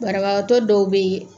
Barabaatɔ dɔw beyi.